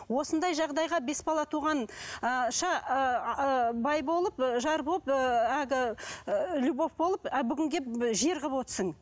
осындай жағдайға бес бала туған ыыы ша бай болып жар болып әлгі ыыы любовь болып а бүгін келіп жер қылып отырсың